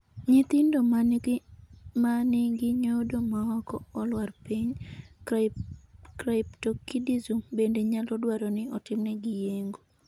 Nyithindo ma nigi nyodo maok olwar piny (cryptorchidism) bende nyalo dwaro ni otimnegi yeng'o.